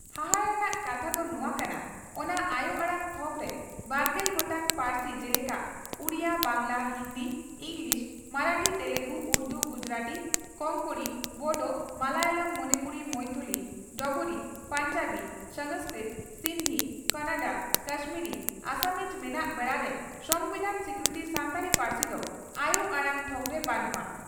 ᱦᱟᱦᱟᱲᱟ ᱨᱮᱱᱟᱜ ᱠᱟᱛᱷᱟ ᱫᱚ ᱱᱚᱣᱟ ᱠᱟᱱᱟ, ᱚᱱᱟ ᱟᱭᱚ ᱟᱲᱟᱝ ᱛᱷᱚᱠᱨᱮ ᱵᱟᱨᱜᱮᱞ ᱜᱚᱴᱟᱝ ᱯᱟᱹᱨᱥᱤ ᱡᱮᱞᱮᱠᱟ ᱩᱰᱤᱭᱟᱹ, ᱵᱟᱝᱜᱽᱞᱟ, ᱦᱤᱱᱫᱤ, ᱤᱸᱜᱽᱞᱤᱥ, ᱢᱟᱨᱟᱴᱷᱤ, ᱛᱮᱞᱮᱜᱩ, ᱩᱨᱫᱩ, ᱜᱩᱡᱩᱨᱟᱴᱤ, ᱠᱚᱝᱠᱚᱬᱤ, ᱵᱚᱰᱚ, ᱢᱟᱞᱟᱭᱟᱞᱟᱢ, ᱢᱚᱱᱤᱯᱩᱨᱤ, ᱢᱚᱭᱛᱷᱚᱞᱤ, ᱰᱚᱜᱽᱨᱤ, ᱯᱚᱧᱡᱟᱵᱤ, ᱥᱟᱝᱥᱠᱨᱤᱛ, ᱥᱤᱱᱫᱷᱤ, ᱠᱚᱱᱚᱰᱟ, ᱠᱟᱥᱢᱤᱨᱤ, ᱟᱥᱟᱢᱤᱡ ᱢᱮᱱᱟᱜ ᱵᱮᱲᱟᱨᱮ ᱥᱚᱢᱵᱤᱫᱷᱟᱱ ᱥᱤᱠᱨᱤᱛᱤ ᱥᱟᱱᱛᱟᱲᱤ ᱯᱟᱹᱨᱥᱤ ᱫᱚ ᱟᱭᱚ ᱟᱲᱟᱝ ᱛᱷᱚᱠᱨᱮ ᱵᱟᱹᱱᱩᱜᱼᱟ ᱾